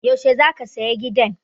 Yaushe za ka saya gidan?